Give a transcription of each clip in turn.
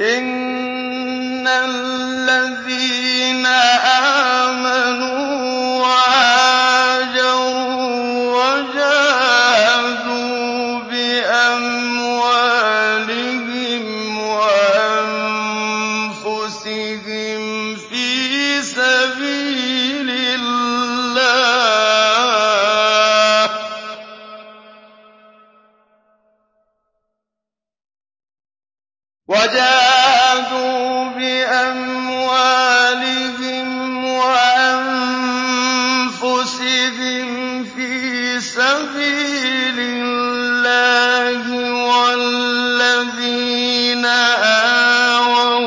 إِنَّ الَّذِينَ آمَنُوا وَهَاجَرُوا وَجَاهَدُوا بِأَمْوَالِهِمْ وَأَنفُسِهِمْ فِي سَبِيلِ اللَّهِ وَالَّذِينَ آوَوا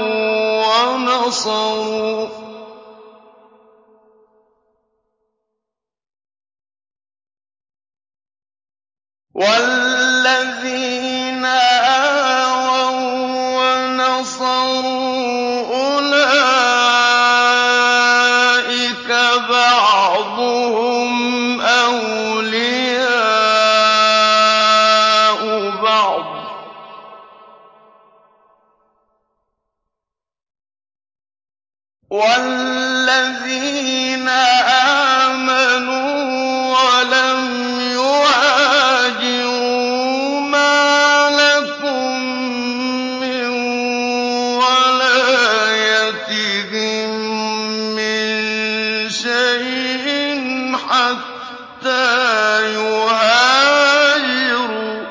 وَّنَصَرُوا أُولَٰئِكَ بَعْضُهُمْ أَوْلِيَاءُ بَعْضٍ ۚ وَالَّذِينَ آمَنُوا وَلَمْ يُهَاجِرُوا مَا لَكُم مِّن وَلَايَتِهِم مِّن شَيْءٍ حَتَّىٰ يُهَاجِرُوا ۚ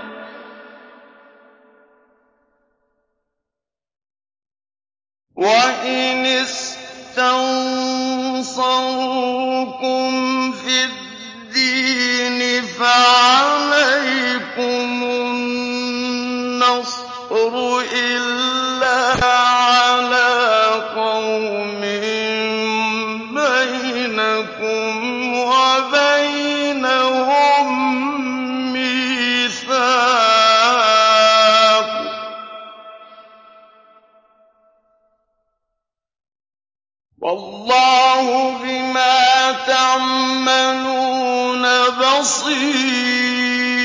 وَإِنِ اسْتَنصَرُوكُمْ فِي الدِّينِ فَعَلَيْكُمُ النَّصْرُ إِلَّا عَلَىٰ قَوْمٍ بَيْنَكُمْ وَبَيْنَهُم مِّيثَاقٌ ۗ وَاللَّهُ بِمَا تَعْمَلُونَ بَصِيرٌ